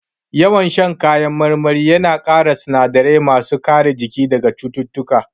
Yawan shan kayan marmari ya na ƙara sinadarai ma su kare jiki daga cututtuka